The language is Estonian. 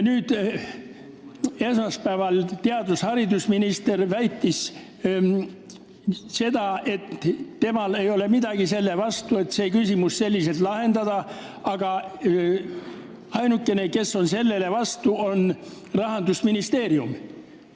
Esmaspäeval väitis haridus- ja teadusminister, et temal ei ole midagi selle vastu, et see küsimus selliselt lahendada, aga ainukene, kes selle vastu on, on Rahandusministeerium.